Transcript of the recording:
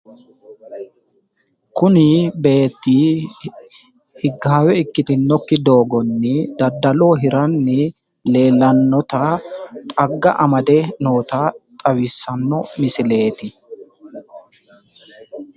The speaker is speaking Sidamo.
kuni beetti higgaawe ikkitinokki doogonni daddaloho hirannni leellannota xagga amade noota xawissanno misileeti.